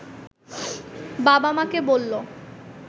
বাবা-মাকে বলল